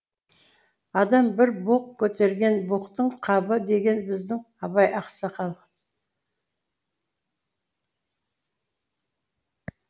адам бір боқ көтерген боқтың қабы деген біздің абай ақсақал